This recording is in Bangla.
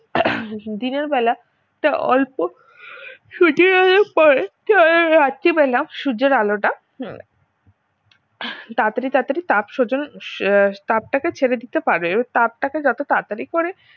দিনের বেলা তা অল্প পরে রাত্রিবেলা সূর্যের আলোটা তাড়াতাড়ি তাড়াতড়ি তাপ সঞ্চালন আহ তাপটাকে ছেড়ে দিতে পারে এ তাপটাকে যত তাড়াতড়ি করে